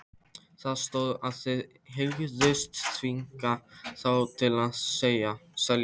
Það stóð, að þið hygðust þvinga þá til að selja